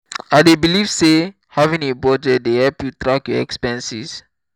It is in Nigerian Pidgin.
i dey believe say having a budget dey help you track your expenses.